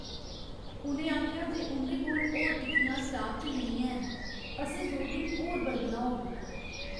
उ'नें आखेआ जे उं'दे कोल होर टिक्कियां स्टाक च नेईं हैन। असें दो दिन होर बलगना होग।